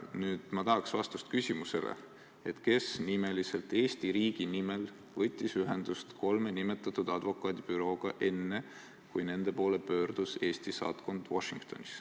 Nüüd ma tahaksin vastust küsimusele, kes – nimeliselt – võttis Eesti riigi nimel ühendust kolme nimetatud advokaadibürooga enne, kui nende poole pöördus Eesti saatkond Washingtonis.